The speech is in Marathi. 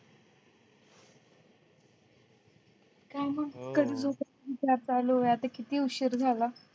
काय मग कधी विचार आता किती उशीर झाला